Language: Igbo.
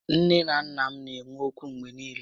Nné na nnà m na enwe ókwú mgbé niile